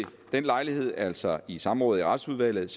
den lejlighed altså i samrådet i retsudvalget